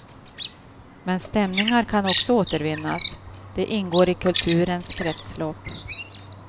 Men stämningar kan också återvinnas, de ingår i kulturens kretslopp.